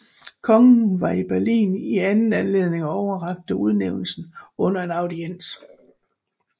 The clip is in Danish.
Kongen var i Berlin i anden anledning og overrakte udnævnelsen under en audiens